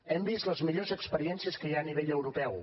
hem vist les millors experiències que hi ha a nivell europeu